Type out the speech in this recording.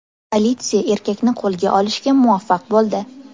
Politsiya erkakni qo‘lga olishga muvaffaq bo‘ldi.